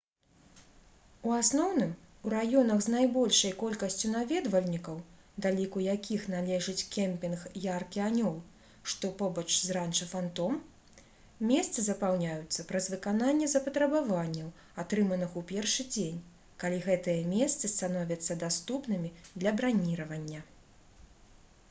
у асноўным у раёнах з найбольшай колькасцю наведвальнікаў да ліку якіх належыць кемпінг «яркі анёл» што побач з ранча «фантом» месцы запаўняюцца праз выкананне запатрабаванняў атрыманых у першы дзень калі гэтыя месцы становяцца даступнымі для браніравання